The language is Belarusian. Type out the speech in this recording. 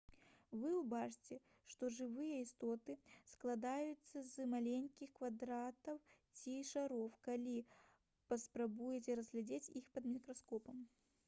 вы ўбачыце што жывыя істоты складаюцца з маленькіх квадратаў ці шароў калі паспрабуеце разглядзець іх пад мікраскопам